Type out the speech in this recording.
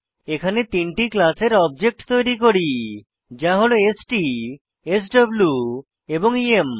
এখানে তিনটি ক্লাসের অবজেক্ট তৈরী করি যা হল স্ট স্ব এবং ইএম